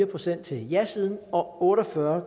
procent til jasiden og otte og fyrre